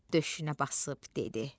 döşünə basıb dedi.